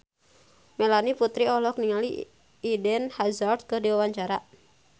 Melanie Putri olohok ningali Eden Hazard keur diwawancara